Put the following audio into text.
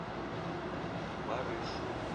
барышу